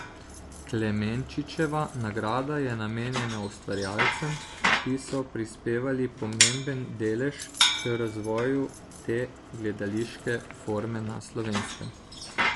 Klemenčičeva nagrada je namenjena ustvarjalcem, ki so prispevali pomemben delež k razvoju te gledališke forme na Slovenskem.